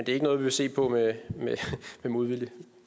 ikke noget vi vil se på med modvilje